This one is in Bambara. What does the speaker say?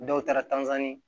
Dɔw taara